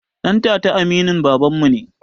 Ɗantata aminin babanmu ne